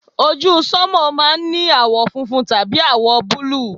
ojú sánmà máà ń ní àwọ̀ funfun tàbí àwọ̀ búlù